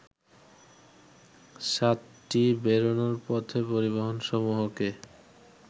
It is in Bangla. সাতটি বেরোনোর পথে পরিবহনসমূহকে